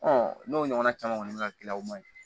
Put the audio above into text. n'o ɲɔgɔnna caman kɔni bɛ ka gilan o man ɲi